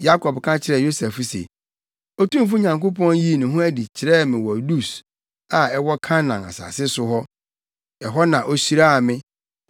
Yakob ka kyerɛɛ Yosef se, “Otumfo Nyankopɔn yii ne ho adi kyerɛɛ me wɔ Lus a ɛwɔ Kanaan asase so. Ɛhɔ na ohyiraa me,